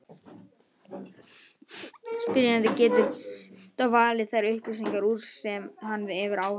Spyrjandinn getur þá valið þær upplýsingar úr sem hann hefur áhuga á.